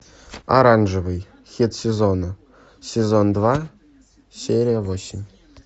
оранжевый хит сезона сезон два серия восемь